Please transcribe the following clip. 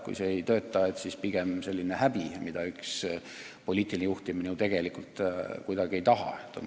Kui see ei tööta, siis tuleb selline häbi alla neelata.